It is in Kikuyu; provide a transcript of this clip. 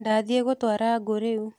Ndathiĩ gwatura ngũ rĩu.